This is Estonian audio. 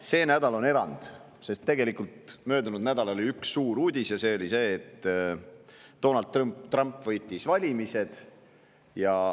See nädal on erand, sest möödunud nädalal oli tegelikult üks suur uudis ja see oli see, et Donald Trump võitis valimised.